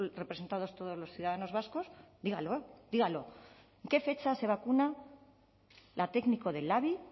representados todos los ciudadanos vascos dígalo dígalo en qué fecha se vacuna la técnico del labi